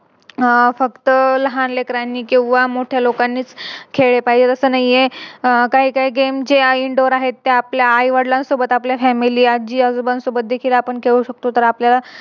अह फक्त लहान लेकरांनी किव्हा मोठ्या लोकांनीच खेळलं पाहिजे असं नाही. आह काही काही Game जे आहे Indoor आहेत ते आपल्या आई वडिलांसोबत आपल्या Family आजी आजोबान सोबत देखील सोबत खेळू शकतो तर आपल्या